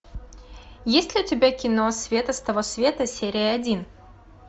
есть ли у тебя кино света с того света серия один